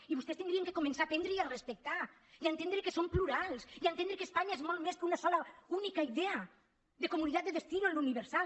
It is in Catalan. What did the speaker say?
i vostès haurien de començar a aprendre i a respectar i a entendre que som plurals i a entendre que espanya és molt més que una sola única idea d’ unidad de destino en lo universal